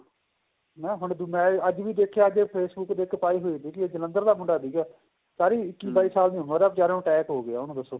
ਮੈਂ ਹੁਣ ਵੀ ਅੱਜ ਵੀ ਦੇਖਿਆ ਕੀ Facebook ਤੇ ਇੱਕ ਪਾਈ ਹੋਈ ਸੀ ਜਲੰਧਰ ਦਾ ਮੁੰਡਾ ਤੀਗਾ ਸਾਰੀ ਇੱਕੀ ਬਾਈ ਸਾਲ ਦੀ ਉਮਰ ਏ ਵਿਚਾਰੇ ਨੂੰ attack ਹੋ ਗਿਆ ਉਹਨੂੰ ਦੱਸੋ